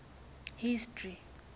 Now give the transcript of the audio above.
history